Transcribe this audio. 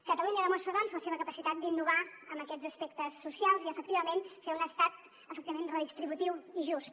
catalunya demostra doncs la seva capacitat d’innovar en aquests aspectes socials i efectivament de fer un estat efectivament redistributiu i just